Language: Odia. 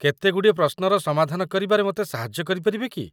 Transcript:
କେତେଗୁଡ଼ିଏ ପ୍ରଶ୍ନର ସମାଧାନ କରିବାରେ ମୋତେ ସାହାଯ୍ୟ କରିପାରିବେ କି?